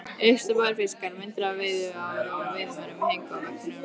Uppstoppaðir fiskar, myndir af veiðiám og veiðimönnum héngu á veggjunum.